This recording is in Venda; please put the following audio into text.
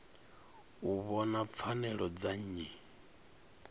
u vhona pfanelo dza nnyi